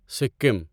Sikkim